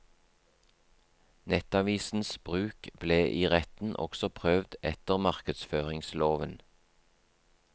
Nettavisens bruk ble i retten også prøvd etter markedsføringsloven.